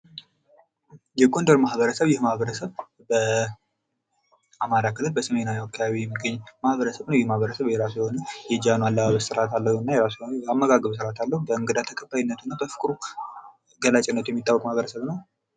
የጎንደር ማህበረሰብ ይህ ማህበረሰብ በአማራ ክልል በሰሜናዊ አካባቢ የሚገኝ የማህበረሰብ ነዉ። ይህ ማህበረሰብ የራሱ የሆነ የጃኖ አለባበስ ስርዓት አለዉ። የራሱ የሆነ የአመጋገብ ስርዓት አለዉ። እንግዳ ተቀባይነቱ እና በፍቅሩ ገላጭነት ያለዉ ማህበረሰብ ነዉ።